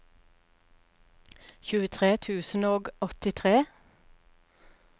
tjuetre tusen og åttitre